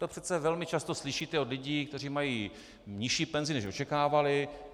To přece velmi často slyšíte od lidí, kteří mají nižší penzi, než očekávali.